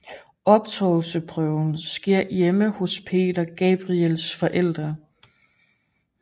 Optagelsesprøven skete hjemme hos Peter Gabriels forældre